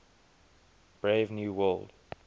brave new world